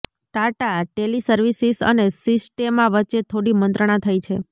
Tata teleservices અને Sistema વચ્ચે થોડી મંત્રણા થઈ છે